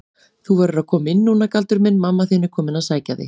Þú verður að koma núna Galdur minn, mamma þín er komin að sækja þig.